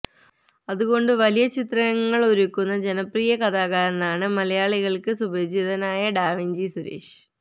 അതുകൊണ്ട് വലിയ ചിത്രങ്ങൾ ഒരുക്കുന്ന ജനപ്രിയ കലാകാരനാണ് മലയാളികൾക്ക് സുപരിചിതനായ ഡാവിഞ്ചി സുരേഷ്